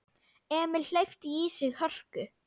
Emil hleypti í sig hörku.